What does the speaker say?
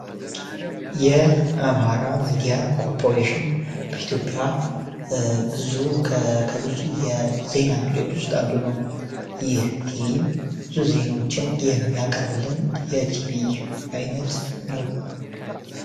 የአምሃራ ሚዲያ ኮርፖሬሽን በኢትዮፒያ ብዙ ከብዙ የዜና ምንጮች ውስጥ አንዱነው። ይህ ቲቪም ብዙ ዜናችን የሚያቀርብልን የቲቪ አይነት ነው።